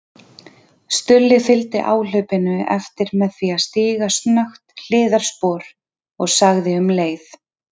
Stulli fylgdi áhlaupinu eftir með því að stíga snöggt hliðarspor og sagði um leið